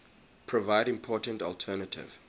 provide important alternative